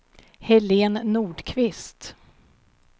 Helén Nordqvist